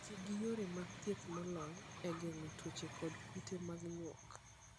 Ti gi yore mag thieth molony e geng'o tuoche kod kute mag nyuok.